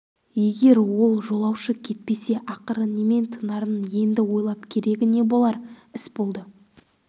егер ол жолаушы кетпесе ақыры немен тынарын енді ойлап керегі не болар іс болды